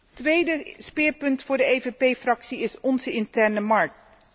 Het tweede speerpunt voor de PPE Fractie is onze interne markt.